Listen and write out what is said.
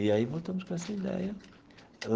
E aí voltamos com essa ideia.